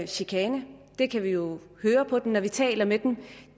chikane det kan vi jo høre på dem når vi taler med dem